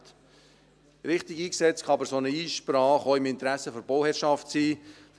Richtig eingesetzt, kann eine solche Einsprache aber auch im Interesse der Bauherrschaft liegen.